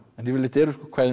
yfirleitt eru kvæðin